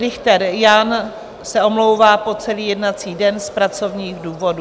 Richter Jan se omlouvá po celý jednací den z pracovních důvodů.